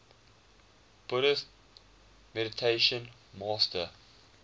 buddhist meditation master